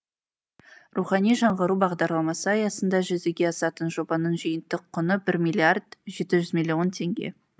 рухани жаңғыру бағдарламасы аясында жүзеге асатын жобаның жиынтық құны бір миллиард жеті жүз миллион теңге